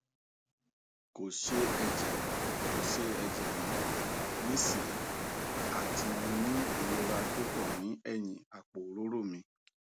ko se eje ko se eje mo nisin ati mo ni irora pupo ni eyin apo orooro mi